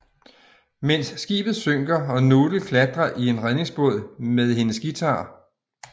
Mens skibet synker og Noodle klatrer i en redningsbåd med hendes guitar